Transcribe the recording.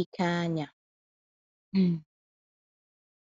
ike anya. um